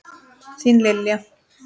Þín, Lilja.